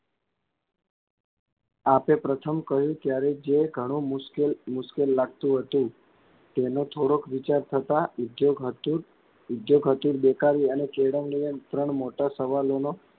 આપે પ્રથમ કહ્યું ત્યારે જે ઘણું મુશ્કેલ મુશ્કેલ લાગતું હતું તેનો થોડોક વિચાર થતાં ઉધ્યોગ હતું ઉધ્યોગ હતું બેકારી અને કેળવણી એમ ત્રણ મોટા સવાલોનો,